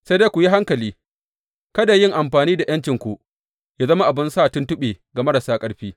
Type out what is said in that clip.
Sai dai ku yi hankali, kada yin amfani da ’yancinku yă zama abin sa tuntuɓe ga marasa ƙarfi.